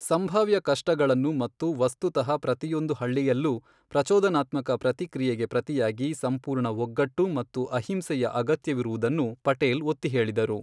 ಸಂಭಾವ್ಯ ಕಷ್ಟಗಳನ್ನು ಮತ್ತು ವಸ್ತುತಃ ಪ್ರತಿಯೊಂದು ಹಳ್ಳಿಯಲ್ಲೂ ಪ್ರಚೋದನಾತ್ಮಕ ಪ್ರತಿಕ್ರಿಯೆಗೆ ಪ್ರತಿಯಾಗಿ ಸಂಪೂರ್ಣ ಒಗ್ಗಟ್ಟು ಮತ್ತು ಅಹಿಂಸೆಯ ಅಗತ್ಯವಿರುವುದನ್ನು ಪಟೇಲ್ ಒತ್ತಿಹೇಳಿದರು.